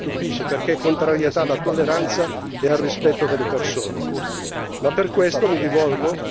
La loro contrarietà alla relazione non mi stupisce, perché è contrarietà alla tolleranza e al rispetto delle persone.